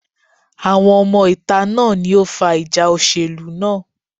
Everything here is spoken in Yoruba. Àwọn ọmọ ìta náà ni ó fa ìjà òṣèlú náà.